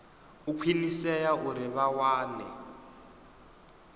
u khwinisea uri vha wane